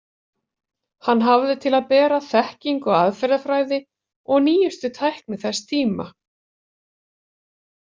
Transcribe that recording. Hann hafði til að bera þekkingu á aðferðafræði og nýjustu tækni þessa tíma.